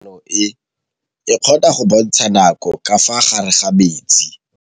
Toga-maanô e, e kgona go bontsha nakô ka fa gare ga metsi.